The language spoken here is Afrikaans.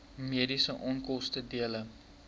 mediese onkoste dele